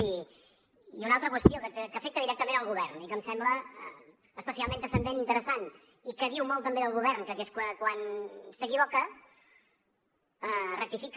i una altra qüestió que afecta directament el govern i que em sembla especialment transcendent i interessant i que diu molt també del govern que és que quan s’equivoca rectifica